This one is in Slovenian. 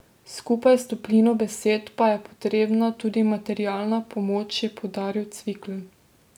Skupaj s toplino besed pa je potrebna tudi materialna pomoč, je poudaril Cvikl.